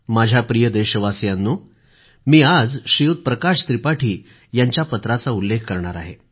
माझ्या प्रिय देशवासियांनो मी आज प्रकाश त्रिपाठी यांच्या पत्राचा उल्लेख करणार आहे